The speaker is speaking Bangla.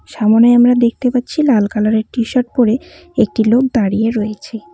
সামোনে আমরা দেখতে পাচ্ছি লাল কালারের টি শার্ট পরে একটি লোক দাঁড়িয়ে রয়েছে।